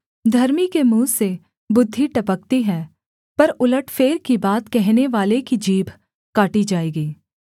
धर्मी के मुँह से बुद्धि टपकती है पर उलटफेर की बात कहनेवाले की जीभ काटी जाएगी